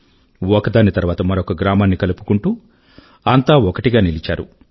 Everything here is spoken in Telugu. ఒకదాని తర్వాత మరొక గ్రామాన్ని కలుపుకుంటూ అంతా ఒకటిగా నిలిచారు